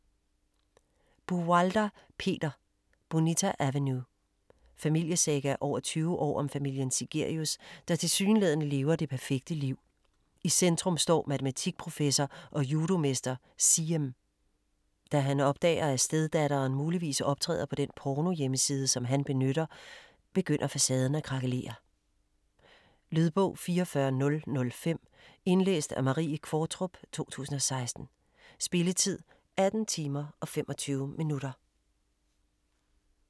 Buwalda, Peter: Bonita Avenue Familiesaga over 20 år om familien Sigerius der tilsyneladende lever det perfekte liv. I centrum står matematikprofessor og judomester Siem. Da han opdager, at steddatteren muligvis optræder på den pornohjemmeside, som han benytter, begynder facaden at krakelere. Lydbog 44005 Indlæst af Marie Qvortrup, 2016. Spilletid: 18 timer, 25 minutter.